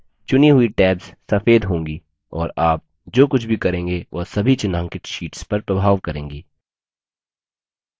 चुनी हुई tabs सफ़ेद होंगी और आप जो कुछ भी करेंगे वह सभी चिन्हांकित शीट्स पर प्रभाव करेंगी